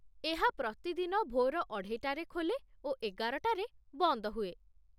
ଏହା ପ୍ରତିଦିନ ଭୋର ଅଢ଼େଇଟାରେ ଖୋଲେ ଓ ଏଗାରଟାରେ ବନ୍ଦ ହୁଏ।